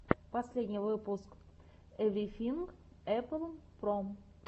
последний выпуск эврифинг эппл про